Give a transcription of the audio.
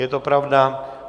Je to pravda.